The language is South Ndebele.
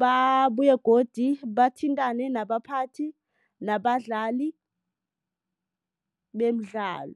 Babuye godu bathintane nabaphathi nabadlali bemidlalo.